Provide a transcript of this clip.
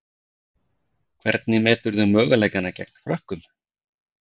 Hvernig meturðu möguleikana gegn Frökkum?